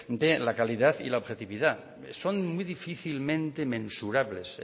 de la calidad y la objetividad son muy difícilmente mensurables